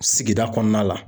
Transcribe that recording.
Sigida kɔnɔna la.